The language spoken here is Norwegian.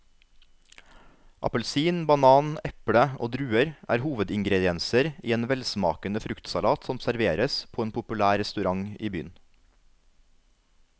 Appelsin, banan, eple og druer er hovedingredienser i en velsmakende fruktsalat som serveres på en populær restaurant i byen.